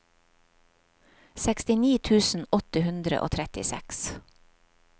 sekstini tusen åtte hundre og trettiseks